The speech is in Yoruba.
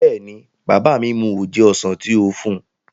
Bẹ́ẹ̀ni, bàbá mi mu oje ọsàn tí ó fún un